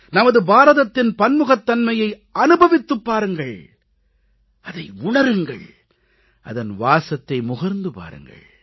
நமது பாரதத்தின் பன்முகத்தன்மையை அனுபவித்துப் பாருங்கள் அதை உணருங்கள் அதன் வாசத்தை முகர்ந்து பாருங்கள்